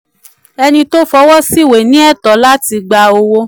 ẹni tó fọwọ́ sí ìwé ní ẹ̀tọ́ gba owó